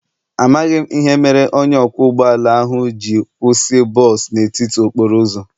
Amaghị m ihe mere onye ọkwọ ụgbọ ala ahụ ji kwụsị bọs n'etiti okporo ụzọ.